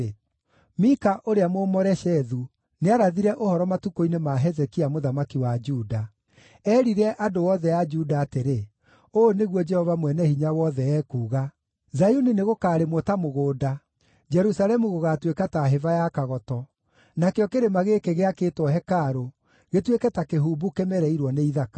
“Mika ũrĩa Mũmoreshethu nĩarathire ũhoro matukũ-inĩ ma Hezekia, mũthamaki wa Juda. Eerire andũ othe a Juda atĩrĩ, ‘Ũũ nĩguo Jehova Mwene-Hinya-Wothe ekuuga: “ ‘Zayuni nĩgũkarĩmwo ta mũgũnda, Jerusalemu gũgaatuĩka ta hĩba ya kagoto, nakĩo kĩrĩma gĩkĩ gĩakĩtwo hekarũ gĩtuĩke ta kĩhumbu kĩmereirwo nĩ ithaka.’